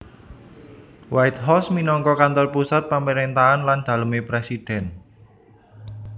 White House minangka kantor pusat pamaréntahan lan dalemé presiden